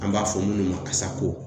An b'a fɔ minnu ma